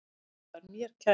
Tóti var mér kær.